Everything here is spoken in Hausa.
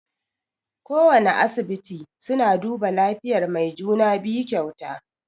Kowana asibiti suna duba lafiyan mai juna-biyu kyauta.